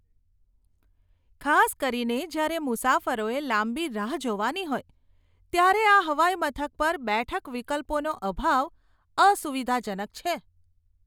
ખાસ કરીને જ્યારે મુસાફરોએ લાંબી રાહ જોવાની હોય ત્યારે આ હવાઈમથક પર બેઠક વિકલ્પોનો અભાવ અસુવિધાજનક છે.